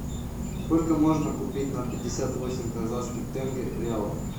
сколько можно купить на пятьдесят восемь казахских тенге реалов